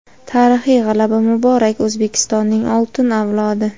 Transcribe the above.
Tarixiy g‘alaba muborak, O‘zbekistonning oltin avlodi!.